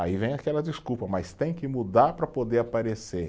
Aí vem aquela desculpa, mas tem que mudar para poder aparecer.